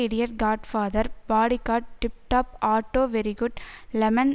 idiot godfather bodyguard tiptop auto very good lemon